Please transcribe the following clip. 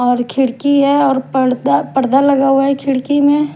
और खिड़की है और पर्दा पर्दा लगा हुआ है खिड़की में ।